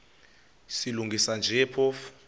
silungisa nje phofu